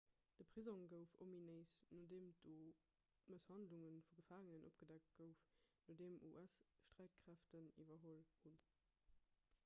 de prisong gouf ominéis nodeem do d'mësshandlung vu gefaangenen opgedeckt gouf nodeem us-sträitkräften iwwerholl hunn